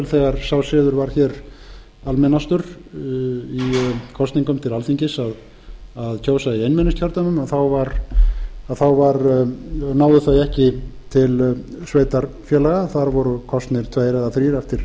þegar sá siður var hér almennastur í kosningum til alþingis að kjósa í einmenningskjördæmum þá náðu þau ekki til sveitarfélaga þar voru kosnir tveir eða